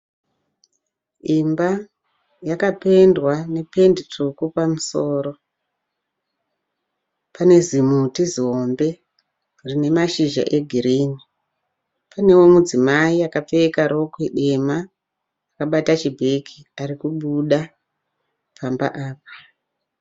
Imba yakapendwa ne pendi tsvuku pamusoro. Pane zimuti zihombe rine mashizha e girinhi. Panewo mudzimai akapfeka rokwe dema akabata chibhegi arikubuda pamba apa.